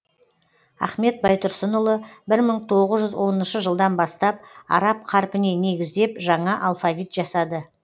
ахмет байтұрсынұлы бір мың тоғыз жүз оныншы жылдан бастап араб қарпіне негіздеп жаңа алфавит жасады